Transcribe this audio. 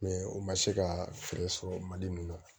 u ma se ka fɛɛrɛ sɔrɔ mali mun na